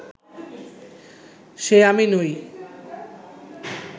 সে আমি নই